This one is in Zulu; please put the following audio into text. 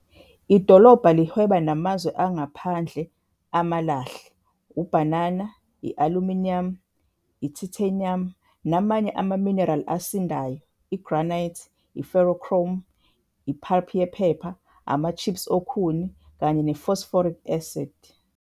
Idolobha lihweba namazwe angaphandle amalahle, ubhanana, i-aluminium, i-titanium namanye amaminerali asindayo, i-granite, i-ferrochrome, i-pulp yephepha, ama-chips okhuni kanye ne-phosphoric acid.